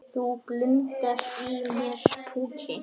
Það blundar í mér púki.